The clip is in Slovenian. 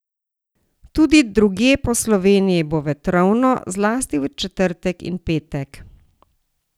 Tudi drugje po Sloveniji bo vetrovno, zlasti v četrtek in petek.